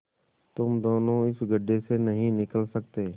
तुम दोनों इस गढ्ढे से नहीं निकल सकते